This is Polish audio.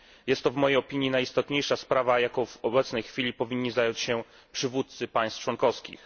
Jest to w mojej opinii najistotniejsza sprawa, jaką w obecnej chwili powinni zająć się przywódcy państw członkowskich.